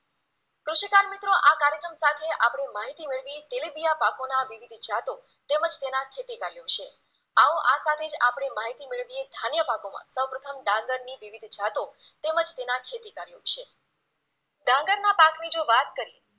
આપણે માહિતી મેળવી તેલિબિયા પાકોના વિવિધ જાતો તેમજ તેના ખેતીકાર્ય વિશે આવો આ સાથે જ આપણે માહિતી મેળવીએ ધાન્ય પાકોમાં, સૌપ્રથમ ડાંગરની વિવિધ જાતો તેમજ તેના ખેતીકાર્ય વિશે, ડાંગરના પાકની જો વાત કરીએ